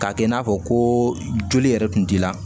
K'a kɛ i n'a fɔ ko joli yɛrɛ tun t'i la